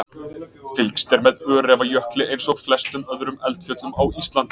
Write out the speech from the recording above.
Fylgst er með Öræfajökli eins og flestum öðrum eldfjöllum á Íslandi.